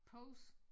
Pose